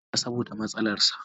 Isah ya fara sha saboda matsalarsa.